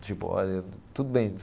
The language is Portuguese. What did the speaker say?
Tipo, olha, tudo bem.